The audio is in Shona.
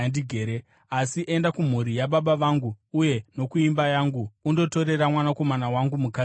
asi enda kumhuri yababa vangu uye nokuimba yangu, undotorera mwanakomana wangu mukadzi ikoko.’